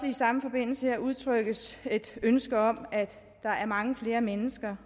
i samme forbindelse også udtrykkes et ønske om at der er mange flere mennesker